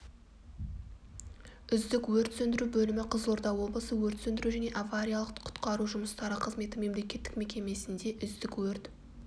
үздік өрт сөндіру бөлімі қызылорда облысы өрт сөндіру және авариялық-құтқару жұмыстары қызметі мемлекеттік мекемесінде үздік өрт